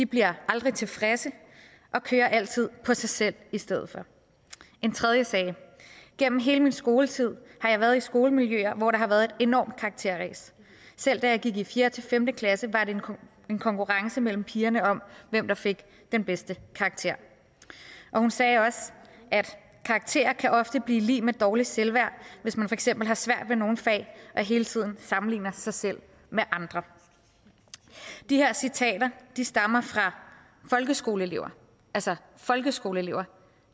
bliver aldrig tilfredse og kører altid på sig selv i stedet for en tredje sagde gennem hele min skoletid har jeg været i skolemiljøer hvor der har været et enormt karakterræs selv da jeg gik i fjerde fem klasse var der en konkurrence mellem pigerne om hvem der fik den bedste karakter hun sagde også karakterer kan ofte blive lig med dårligt selvværd hvis man for eksempel har svært ved nogle fag og hele tiden sammenligner sig selv med andre de her citater stammer fra folkeskoleelever altså folkeskoleelever